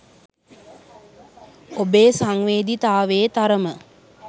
ඔබේ සංවේදීතාවයේ තරම